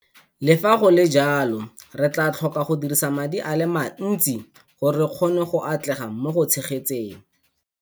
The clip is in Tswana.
Le fa go le jalo, re tla tlhoka go dirisa madi a le mantsi gore re kgone go atlega mo go tshegetseng.